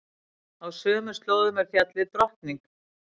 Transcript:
Á sömu slóðum er fjallið Drottning.